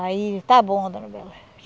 Aí está bom, dona Bela.